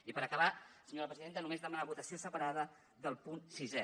i per acabar senyora presidenta només demanar la votació separada del punt sisè